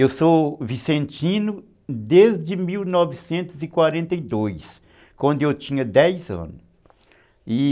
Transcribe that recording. Eu sou vicentino desde mil novecentos e quarenta e dois, quando eu tinha dez anos, e